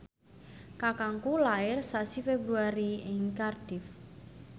kakangku lair sasi Februari ing Cardiff